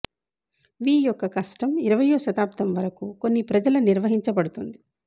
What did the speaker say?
వి యొక్క కస్టమ్ ఇరవయ్యో శతాబ్దం వరకు కొన్ని ప్రజల నిర్వహించబడుతుంది